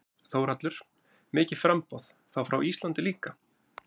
Þórhallur: Mikið framboð, þá frá Íslandi líka?